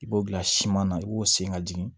I b'o bila siman na i b'o sen ka jigin